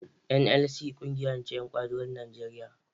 NLC ƙungiya ce ta ƴan ƙwadagon Nigeria